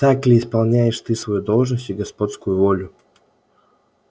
так ли исполняешь ты свою должность и господскую волю